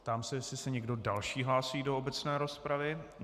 Ptám se, jestli se někdo další hlásí do obecné rozpravy.